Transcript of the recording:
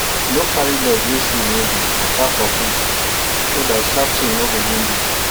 no carry leg wey shoe no deywaka for bush so that sharp thing no go wound you